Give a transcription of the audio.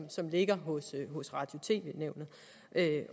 som ligger hos radio